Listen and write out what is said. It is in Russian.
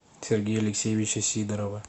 сергея алексеевича сидорова